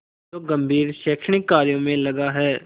जो गंभीर शैक्षणिक कार्यों में लगा है